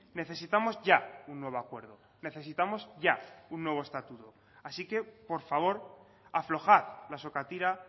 necesitamos ya un nuevo acuerdo necesitamos ya un nuevo estatuto así que por favor aflojar la sokatira